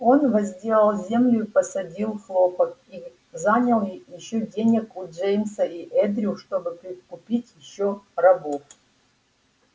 он возделал землю и посадил хлопок и занял ещё денег у джеймса и эндрю чтобы прикупить ещё рабов